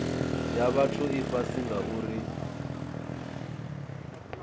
ya vhathu i fhasi ngauri